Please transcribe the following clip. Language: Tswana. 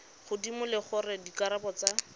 godimo le gore dikarabo tsa